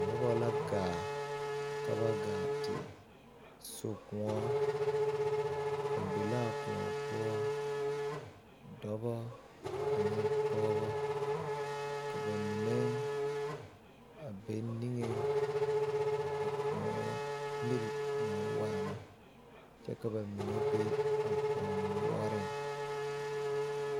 Noba la ɡaa ka ba ɡaa te so kõɔ ba be la a kõɔ poɔ dɔbɔ ane pɔɔbɔ ka ba mine a be niŋeŋ a kõɔ miri naa waana kyɛ ka ba mine be a kõɔ noɔreŋ.